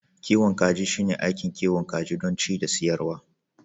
kiwon kaji shine aikin kiwon kaji don ci da siyarwa